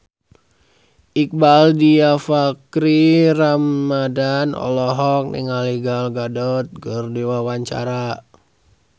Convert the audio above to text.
Iqbaal Dhiafakhri Ramadhan olohok ningali Gal Gadot keur diwawancara